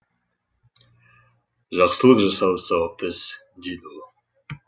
жақсылық жасау сауапты іс дейді ол